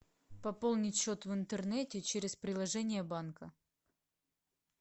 пополнить счет в интернете через приложение банка